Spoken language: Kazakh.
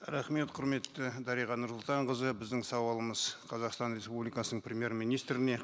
рахмет құрметті дариға нұрсұлтанқызы біздің сауалымыз қазақстан республикасының премьер министріне